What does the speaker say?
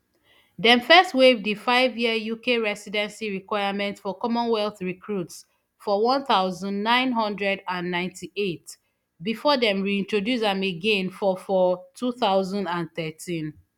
dem first waive di fiveyear uk residency requirement for commonwealth recruits for one thousand, nine hundred and ninety-eight before dem reintroduce am again for for two thousand and thirteen